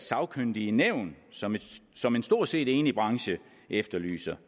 sagkyndige nævn som som en stort set enig branche efterlyser